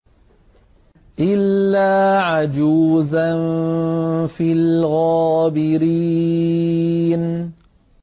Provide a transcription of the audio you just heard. إِلَّا عَجُوزًا فِي الْغَابِرِينَ